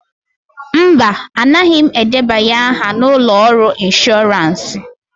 Mba, anaghị m edebanye aha na ụlọ ọrụ inshọransị.